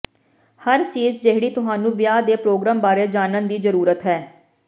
ਹਰ ਚੀਜ਼ ਜਿਹੜੀ ਤੁਹਾਨੂੰ ਵਿਆਹ ਦੇ ਪ੍ਰੋਗਰਾਮ ਬਾਰੇ ਜਾਣਨ ਦੀ ਜ਼ਰੂਰਤ ਹੈ